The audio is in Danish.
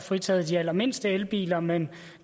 fritaget de allermindste elbiler men